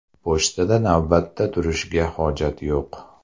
Pochtada navbatda turishga hojat yo‘q.